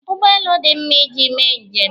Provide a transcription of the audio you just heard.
Ụgbọelu dị mma iji mee njem